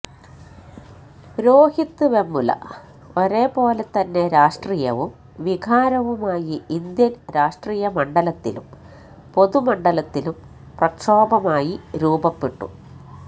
രോഹിത് വെമുല ഒരേപോലെ തന്നെ രാഷ്ട്രീയവും വികാരവുമായി ഇന്ത്യന് രാഷ്ട്രീയ മണ്ഡലത്തിലും പൊതുമണ്ഡലത്തിലും പ്രക്ഷോഭമായി രൂപപ്പെട്ടു